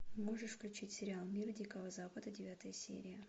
можешь включить сериал мир дикого запада девятая серия